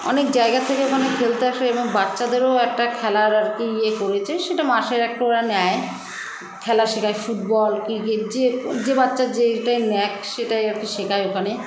অনেক জায়গার থেকে ওখানে খেলতে আসে এবং বাচ্চাদেরও একটা খেলার আরকি ইয়ে করেছে সেটা মাসের একটা ওরা নেয় খেলা শেখায় football cricket যে যে বাচ্চা যেইটায় ন্যাক সেটাই আরকি শেখায় ওখানে